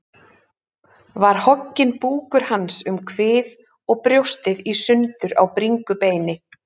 Var hogginn búkur hans um kvið og brjóstið í sundur á bringubeini.